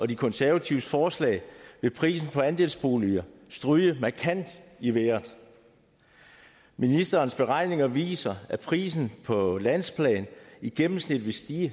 de konservatives forslag vil prisen for andelsboliger stryge markant i vejret ministerens beregninger viser at prisen på landsplan i gennemsnit vil stige